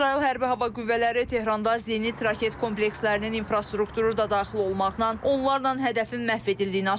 İsrail Hərbi Hava Qüvvələri Tehranda zenit raket komplekslərinin infrastrukturu da daxil olmaqla onlarla hədəfin məhv edildiyini açıqlayıb.